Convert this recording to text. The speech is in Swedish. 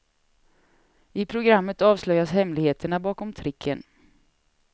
I programmet avslöjas hemligheterna bakom tricken.